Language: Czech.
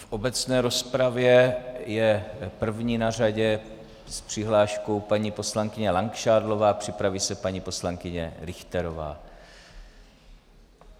V obecné rozpravě je první na řadě s přihláškou paní poslankyně Langšádlová, připraví se paní poslankyně Richterová.